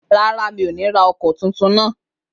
Rárá, mi ò ní ra ọkọ̀ tuntun náà